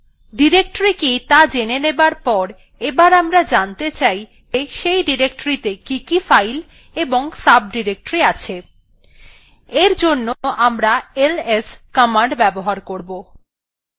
directory কি ত়া জেনে যাবার পর এবার আমরা জানতে চাই যে সেই ডিরেক্টরীটিতে কি কি files এবং সাবডিরেক্টরি আছে এর জন্য আমরা ls command ব্যবহার করবো